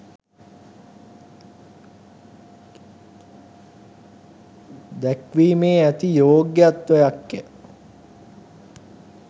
දැක්වීමේ ඇති යොග්‍යත්වයක්ය.